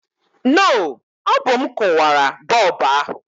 No, ọ bụ m kụwara bọlbụ ahụ